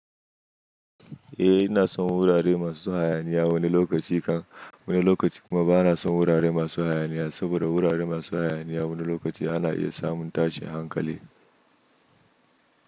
Eh ina son wurare masu hayaniya wani lokaci kan wani lokaci kuma ba na son wurare masu hayaniya saboda wurare masu hayaniya wani lokaci ana iya samun tashin hankali.